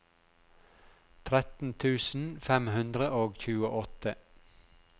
tretten tusen fem hundre og tjueåtte